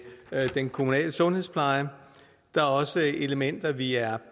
den kommunale sundhedspleje der er også elementer vi er